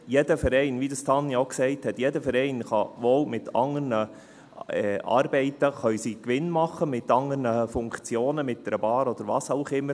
Jeder Verein, wie dies Tanja Bauer auch gesagt hat, kann wohl mit anderen Arbeiten Gewinn machen, mit anderen Funktionen, mit einer Bar oder was auch immer.